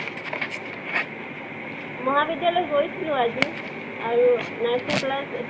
মহাবিদ্য়ালয় গৈছলো আজি আৰু nursing class